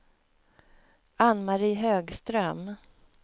Ann-Mari Högström